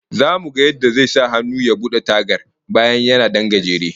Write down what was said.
Zamu ga yadda zai sahannu ya bude tagar, bayan yana dan gajere